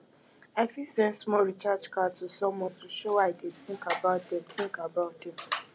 i fit send small recharge card to someone to show i dey think about dem think about dem